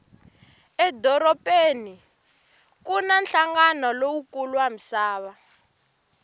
edorobeni kuna hlangana lowukulu wamisava